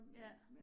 Ja